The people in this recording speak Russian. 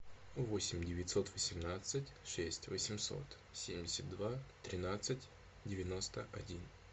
восемь девятьсот восемнадцать шесть восемьсот семьдесят два тринадцать девяносто один